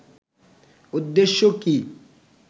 উদ্দেশ্য কি